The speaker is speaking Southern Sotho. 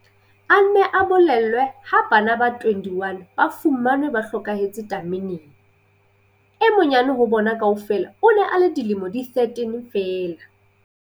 A ne a bolellwe ha bana ba 21 ba fumanwe ba hlokahetse tameneng. E monyane ho bona kaofela o ne a le dilemo di 13 feela.